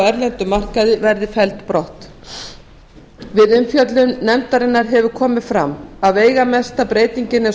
erlendum markaði verði felld brott við umfjöllun nefndarinnar hefur komið fram að veigamesta breytingin og